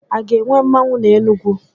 A ga-enwe mmanwu n'Enugwu?